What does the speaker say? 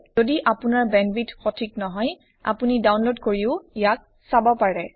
যদি আপোনাৰ bandwidth সঠিক নহয় আপুনি ডাওনলড কৰিও ইয়াক চাব পাৰে